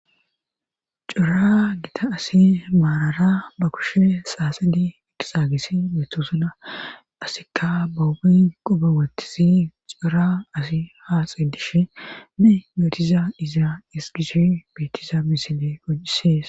cora gita asi maarara ba kushe saasedi eqisagis betosona asikka bahubi qobe wottisi cora asi haaxedishe ne yootiza izaa esgishi beetiza misile gocisees